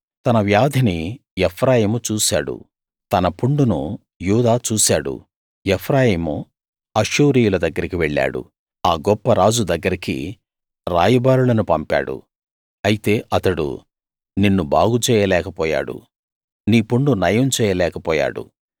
తన వ్యాధిని ఎఫ్రాయిము చూశాడు తన పుండును యూదా చూశాడు ఎఫ్రాయిము అష్షూరీయుల దగ్గరికి వెళ్ళాడు ఆ గొప్ప రాజు దగ్గరికి రాయబారులను పంపాడు అయితే అతడు నిన్ను బాగు చేయలేకపోయాడు నీ పుండు నయం చేయలేకపోయాడు